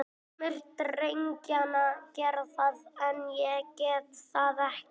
Sumir drengjanna gera það, en ég get það ekki.